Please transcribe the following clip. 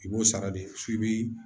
I b'o sara de f'i bi